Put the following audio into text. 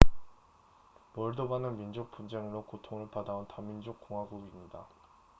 몰도바는 민족 분쟁으로 고통을 받아온 다민족 공화국입니다